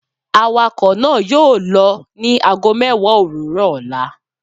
Awakọ naa yoo lọ ni aago mẹwa owurọ ọla